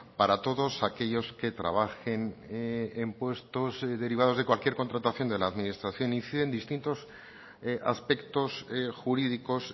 para todos aquellos que trabajen en puestos derivados de cualquier contratación de la administración incide en distintos aspectos jurídicos